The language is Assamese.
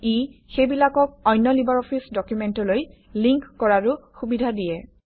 ই সেইবিলাকক অন্য লিবাৰঅফিছ ডকুমেণ্টলৈ লিংক কৰাৰো সুবিধা দিয়ে